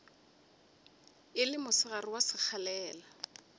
e le mosegare wa sekgalela